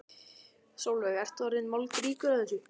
Sólveig: Ertu orðinn moldríkur af þessu?